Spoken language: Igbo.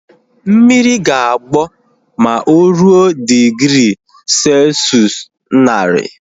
Mmiri ga-agbọ ma o ruo digri selshụs naari